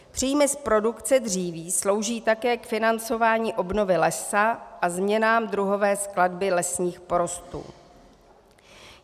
Příjmy z produkce dříví slouží také k financování obnovy lesa a změnám druhové skladby lesních porostů.